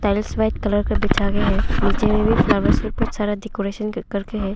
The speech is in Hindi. टाइल्स वाइट कलर का बिछा गया है नीचे में भी फ्लावर डेकोरेशन कर के है।